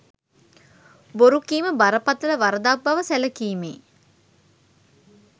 බොරු කීම බරපතළ වරදක් බව සැලකීමේ